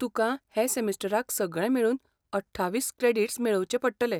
तुकां हे सेमिस्टराक सगळे मेळून अठ्ठावीस क्रॅडीट्स मेळोवचे पडटले.